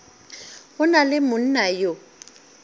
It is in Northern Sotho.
go na le monna yo